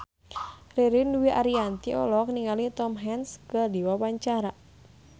Ririn Dwi Ariyanti olohok ningali Tom Hanks keur diwawancara